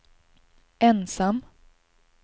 ensam